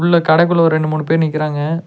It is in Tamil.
உள்ள கடைக்குள்ள ஒரு ரெண்டு மூணு பேர் நிக்கிறாங்க.